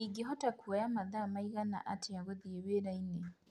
ingĩhota kũoya mathaa riĩgana atĩa gũthiĩ wira-inĩ